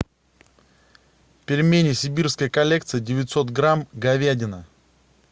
пельмени сибирская коллекция девятьсот грамм говядина